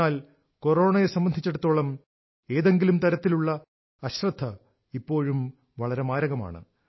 എന്നാൽ കൊറോണയെ സംബന്ധിച്ചിടത്തോളം ഏതെങ്കിലും തരത്തിലുള്ള അശ്രദ്ധ ഇപ്പോഴും വളരെ മാരകമാണ്